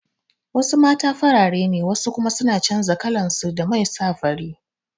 Wasu mata farare ne wasu kuma suna canza kalansu da man sa fari